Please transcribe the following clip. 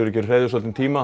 verið hreyfð í svolítinn tíma